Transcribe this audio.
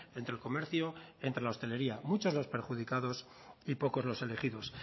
entre el comercio entre la hostelería muchos los perjudicados y poco los elegidos